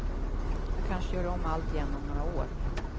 Jag kanske gör om allt igen om några år.